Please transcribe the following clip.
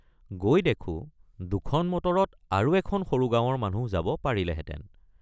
গৈ দেখোঁ দুখন মটৰত আৰু এখন সৰু গাঁৱৰ মানুহ যাব পাৰিলেহেঁতেন।